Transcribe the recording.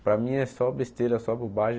Para mim é só besteira, só bobagem.